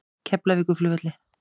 Keflavíkurflugvelli